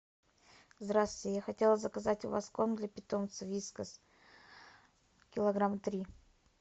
здравствуйте я хотела заказать у вас корм для питомца вискас килограмма три